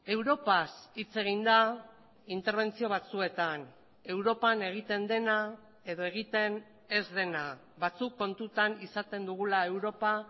europaz hitz egin da interbentzio batzuetan europan egiten dena edo egiten ez dena batzuk kontutan izaten dugula europa